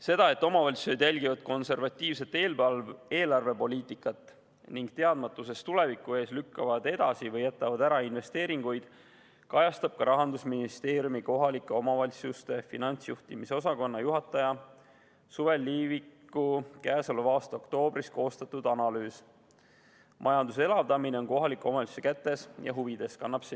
Seda, et omavalitsused järgivad konservatiivset eelarvepoliitikat ning teadmatuse tõttu tuleviku ees lükkavad edasi või jätavad ära investeeringuid, kajastab ka Rahandusministeeriumi kohalike omavalitsuste finantsjuhtimise osakonna juhataja Sulev Liiviku käesoleva aasta oktoobris koostatud analüüs "Majanduse elavdamine on kohaliku omavalitsuse kätes ja huvides".